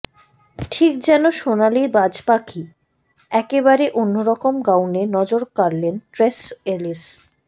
ঠিক যেন সোনালি বাজ পাখি একেবারে অন্যরকম গাউনে নজর কাড়লেন ট্রেস এলিস